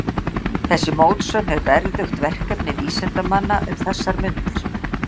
Þessi mótsögn er verðugt verkefni vísindamanna um þessar mundir.